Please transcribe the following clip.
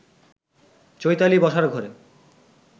চৈতালি বসার ঘরে